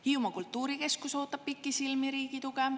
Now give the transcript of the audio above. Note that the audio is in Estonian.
Hiiumaa kultuurikeskus ootab pikisilmi riigi tuge.